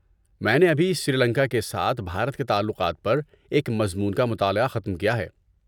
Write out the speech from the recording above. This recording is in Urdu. میں نے ابھی سری لنکا کے ساتھ بھارت کے تعلقات پر ایک مضمون کا مطالعہ ختم کیا ہے۔